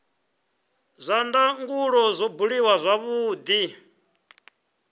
zwa ndangulo zwo buliwa zwavhudi